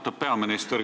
Austatud peaminister!